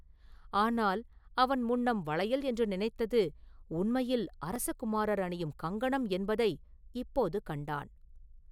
ஆனால் அவன் முன்னம் வளையல் என்று நினைத்தது உண்மையில் அரச குமாரர் அணியும் கங்கணம் என்பதை இப்போது கண்டான்.